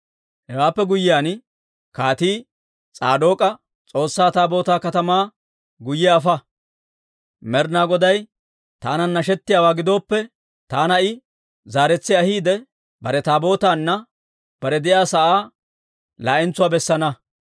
Hewaappe guyyiyaan kaatii S'aadook'a, «S'oossaa Taabootaa katamaa guyye afa. Med'inaa Goday taanan nashettiyaawaa gidooppe, taana I zaaretsi ahiide, bare Taabootaanne bare de'iyaa sa'aa laa'entsuwaa bessana.